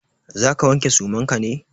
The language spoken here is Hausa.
Za ka wanke suman ka ne?